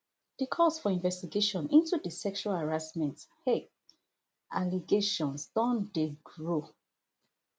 di calls for investigation into di sexual harassment um allegations don dey grow